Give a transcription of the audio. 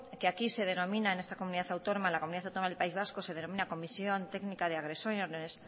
que aquí se denomina en esta comunidad autónoma en la comunidad autónoma del país vasco se denomina comisión técnica de agresiones